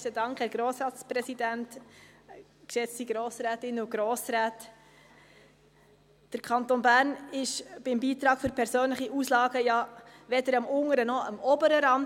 Der Kanton Bern ist beim Beitrag für persönliche Auslagen ja weder am unteren noch am oberen Rand.